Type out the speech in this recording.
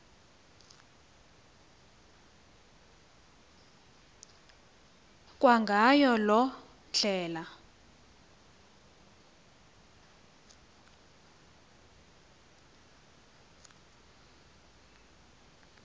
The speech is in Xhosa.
kwangayo loo ndlela